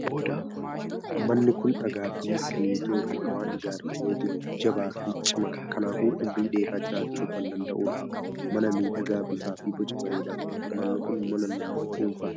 Manni kun dhagaa fi simmintoo irraa waan ijaaramee jiruuf jabaa fi cimaadha. Kanaafuu umurii dheeraa jiraachuu kan danda'udjha. Mana miidhagaa bifaa fi boca bareedaa qabudha. Manni kun mana nama dhuunfaati.